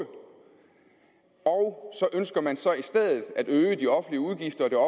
og så ønsker man så i stedet at øge de offentlige udgifter og det